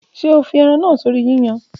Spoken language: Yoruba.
Ṣe o fi eran naa sori yiyan?